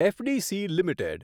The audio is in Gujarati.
FDC limited